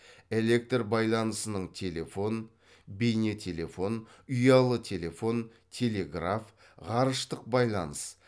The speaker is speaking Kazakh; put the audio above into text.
электр байланысының телефон бейнетелефон ұялы телефон телеграф ғарыштық байланыс